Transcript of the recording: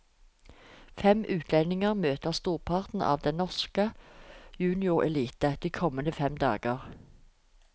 Fem utlendinger møter storparten av den norske juniorelite de kommende fem dager.